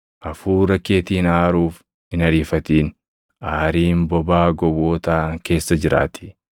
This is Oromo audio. Hafuura keetiin aaruuf hin ariifatin; aariin bobaa gowwootaa keessa jiraatii.